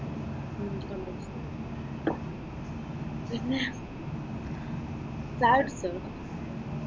ഉം computer science. പിന്നെ ചായുട്ച്ചൊ?